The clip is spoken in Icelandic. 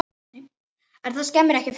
En það skemmir ekki fyrir.